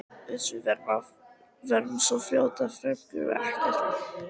Uss, við verðum svo fljótar, Finnarnir gera okkur ekkert.